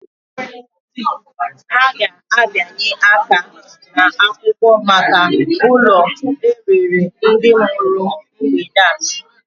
Ha ga-abịanye aka n'akwụkwọ maka ụlọ e rere ndị mụrụ m mgbede a.